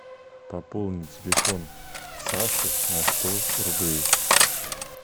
пополнить телефон саши на сто рублей